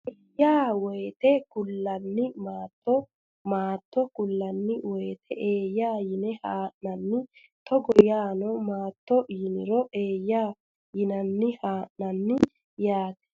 eeyyaa wote kullanni Maatto Maatto kullanni wote eeyyaa yine haa nanni Togo yaanno maattote yiniro eeyyaa yinanni haa nanni yaate !